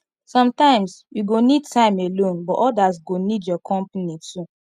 sometimes you go need time alone but others go need your company too